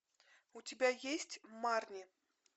у тебя есть марни